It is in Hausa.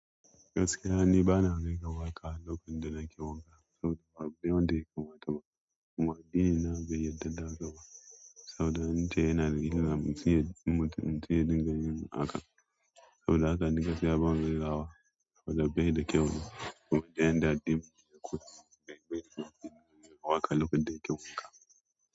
Gaskiya ni bana kaiwa waƙa lokacin da nake wanka saboda babu wanda ya kamata ba. Mu addini na bai yarda da haka ba saboda ita yana da ƙaramuciya mutum cewa danginmu akan. Saboda haka ni gaskiya bana kunnawa saboda bai da kyau ba kuma dai na ɗabi'u da kuturta. Gaskiya babu wanda ya kai waƙa lokacin da yake wanka.